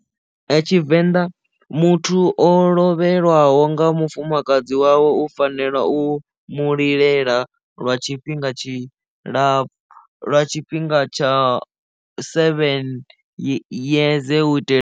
Tshivenḓa muthu o lovhelwaho nga mufumakadzi wawe u fanela u mu lilela lwa tshifhinga tshi ḽa lwa tshifhinga tsha seven yeze u itela.